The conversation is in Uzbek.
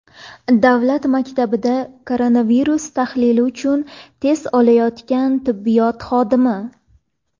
Davlat maktabida koronavirus tahlili uchun test olayotgan tibbiyot xodimi.